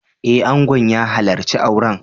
Eh, Angon ya halarci auren